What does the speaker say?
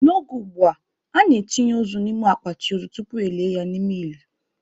N'oge ugbua, a na-etinye ozu n'ime akpati ozu tupu elie ya n'ime ili.